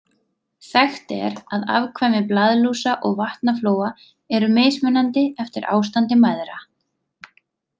Þekkt er að afkvæmi blaðlúsa og vatnaflóa eru mismunandi eftir ástandi mæðra.